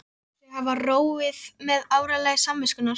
Heldur sig hafa róið með áralagi samviskunnar.